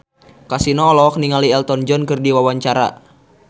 Kasino olohok ningali Elton John keur diwawancara